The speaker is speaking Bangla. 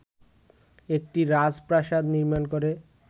একটি রাজপ্রাসাদ নির্মাণ করে